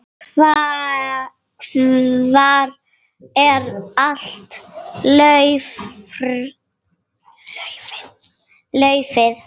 Hvar er allt laufið?